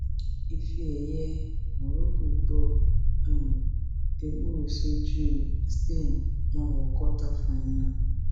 ifeẹyẹ morocco gbọ um ewúro sójú spain wọn wọ kọta fáínà